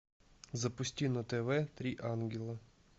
запусти на тв три ангела